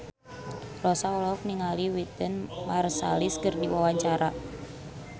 Rossa olohok ningali Wynton Marsalis keur diwawancara